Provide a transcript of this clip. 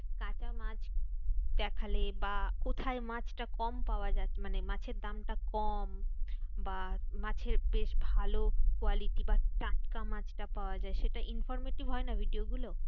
কাঁচা মাছ দেখালে বা কোথায় মাছটা কম পাওয়া যাচ্ছে মানে মাছের দামটা কম বা মাছের বেশ ভালো quality বা টাটকা মাছটা পাওয়া যায় সেটা informative হয়না? video গুলো।